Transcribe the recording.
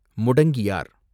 Mudangiyar